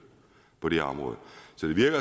på det her område